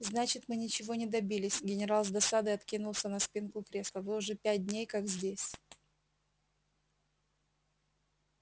значит мы ничего не добились генерал с досадой откинулся на спинку кресла вы уже пять дней как здесь